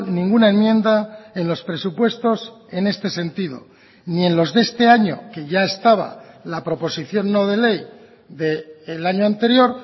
ninguna enmienda en los presupuestos en este sentido ni en los de este año que ya estaba la proposición no de ley del año anterior